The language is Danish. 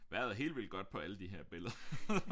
Vejret er helt vildt godt på alle de her